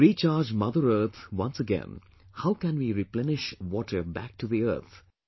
To recharge Mother Earth once again, how can we replenish water back to the earth